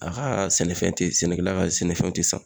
A ka sɛnɛfɛn te sɛnɛkɛla ka sɛnɛfɛnw te san